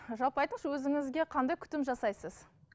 жалпы айтыңызшы өзіңізге қандай күтім жасайсыз